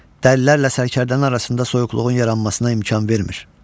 Dəlilərlə sərkərdələrin arasında soyuqluğun yaranmasına imkan vermir.